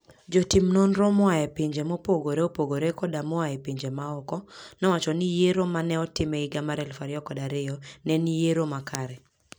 Jotim nonro moa e pinje mopogore opogore koda moa e pinje maoko, nowacho ni yiero ma ne otim e higa 2002 ne en yiero makare.